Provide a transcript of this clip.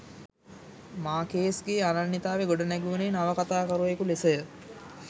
මාර්කේස්ගේ අනන්‍යතාව ගොඩ නැගුණේ නවකතාකරුවකු ලෙසය